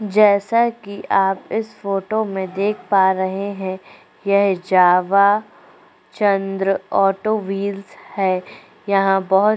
जैसा कि आप इस फोटो में देख पा रहे हैं यह जावा चंद्र ऑटो व्हील्स है यहाँ बहोत --